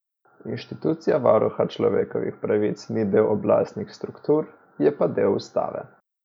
Inštitucija varuha človekovih pravic ni del oblastnih struktur, je pa del ustave.